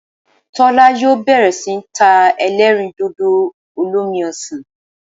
Tólá yóò bèrè sí ní ta elérìndòdò olómi osàn